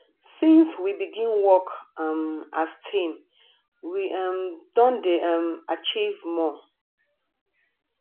since we begin work um as team we um don dey um achieve more